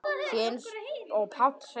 Því eins og Páll segir